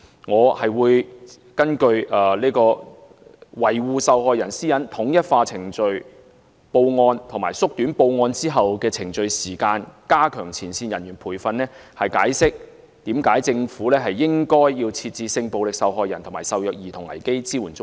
我會根據維護受害人私隱、統一化程序報案和縮短報案後的程序時間、加強前線人員培訓，解釋為何政府應該設置性暴力受害人及受虐兒童危機支援中心。